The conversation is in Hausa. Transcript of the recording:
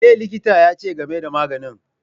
Me likitan ya ce game da maganin?